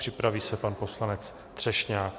Připraví se pan poslanec Třešňák.